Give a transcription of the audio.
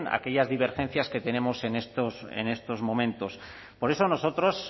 aquellas divergencias que tenemos en estos momentos por eso nosotros